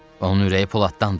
Onun ürəyi poladdandır.